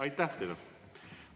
Aitäh teile!